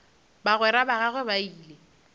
bagwera ba gagwe ba ile